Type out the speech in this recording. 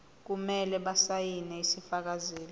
kumele basayine isifakazelo